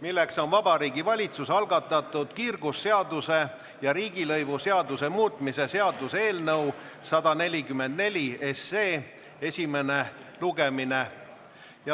milleks on Vabariigi Valitsuse algatatud kiirgusseaduse ja riigilõivuseaduse muutmise seaduse eelnõu 144 esimene lugemine.